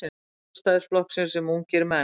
Sjálfstæðisflokksins sem ungir menn.